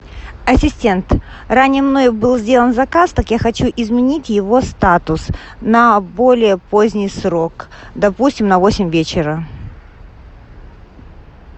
ассистент раннее мной был сделан заказ так я хочу изменить его статус на более поздний срок допустим на восемь вечера